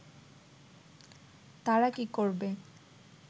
তারা কি করবে